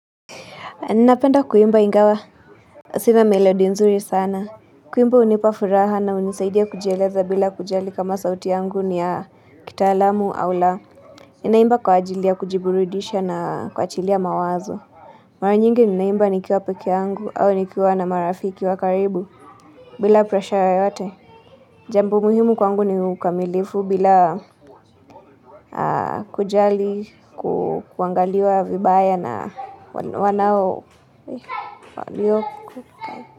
Ninapenda kuimba ingawa. Sina melody nzuri sana. Kuimba hunipa furaha na unisaidia kujieleza bila kujali kama sauti yangu ni ya kitaalamu au la. Ninaimba kwa ajili ya kujiburidisha na kuachilia mawazo. Mara nyingi ninaimba nikiwa pekee yangu au nikiwa na marafiki wa karibu. Bila presha yoyote. Jambo muhimu kwangu ni ukamilifu bila kujali, kuangaliwa vibaya na wanao falioku.